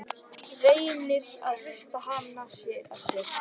Reynir að hrista hana af sér.